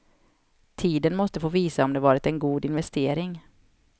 Tiden måste få visa om det varit en god investering.